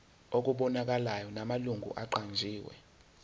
okubonakalayo namalungu aqanjiwe